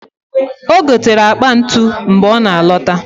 O gotere akpa ntụ mgbe ọ na alota